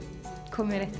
komið